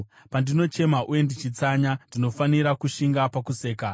Pandinochema uye ndichitsanya, ndinofanira kushinga pakusekwa;